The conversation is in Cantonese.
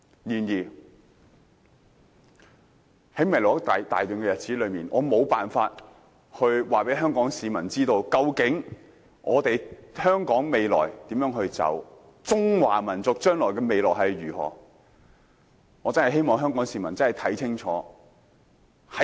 然而，在未來一大段日子中，我無法告訴香港市民究竟香港前路如何，中華民族的未來又會如何，但我真的希望香港市民能看清楚。